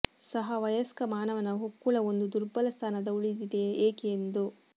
ಸಹ ವಯಸ್ಕ ಮಾನವನ ಹೊಕ್ಕುಳ ಒಂದು ದುರ್ಬಲ ಸ್ಥಾನದ ಉಳಿದಿದೆ ಏಕೆ ಎಂದು